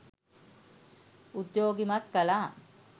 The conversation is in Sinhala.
උද්යෝගිමත් කළා